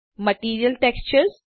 material textures